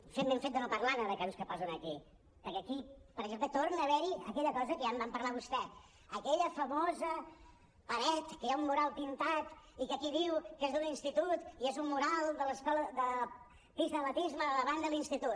fem ben fet de no parlar ne de casos que posen aquí perquè aquí per exemple torna a haver hi aquella cosa que ja en va parlar vostè aquella famosa paret en què hi ha un mural pintat i que aquí diu que és d’un institut i és un mural de la pista d’atletisme de davant de l’institut